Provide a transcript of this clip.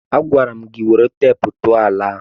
Agwara m gị were teepu tụọ ala ahụ!